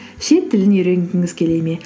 шет тілін үйренгіңіз келе ме